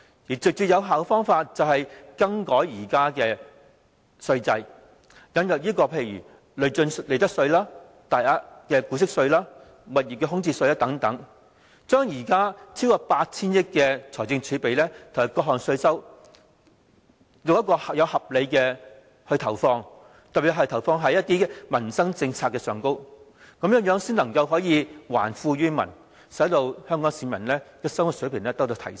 最直接有效的做法就是，改革現在的稅制，例如引入累進利得稅、大額股息稅、物業空置稅等，將現在超過 8,000 億元的財政儲備和各項稅收，合理地投放，特別在於民生政策上，這樣才能夠還富於民，使香港市民的生活水平得到提升。